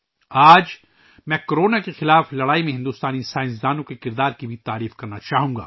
آج، میں کورونا کے خلاف لڑائی میں بھارتی سائنسدانوں کے کردار کی بھی ستائش کرنا چاہوں گا